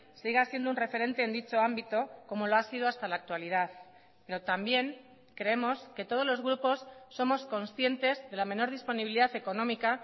siga siendo un referente en dicho ámbito como lo ha sido hasta la actualidad pero también creemos que todos los grupos somos conscientes de la menor disponibilidad económica